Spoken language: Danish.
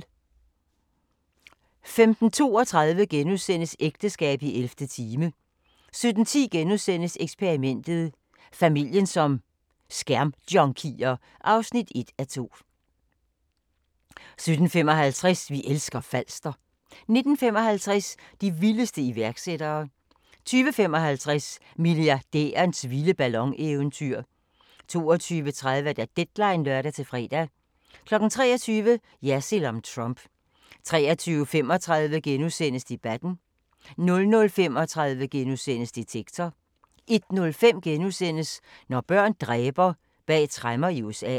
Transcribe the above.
15:32: Ægteskab i 11. time * 17:10: Eksperimentet: Familien som skærmjunkier (1:2)* 17:55: Vi elsker Falster 19:55: De vildeste iværksættere 20:55: Milliardærens vilde ballon-eventyr 22:30: Deadline (lør-fre) 23:00: Jersild om Trump 23:35: Debatten * 00:35: Detektor * 01:05: Når børn dræber – bag tremmer i USA *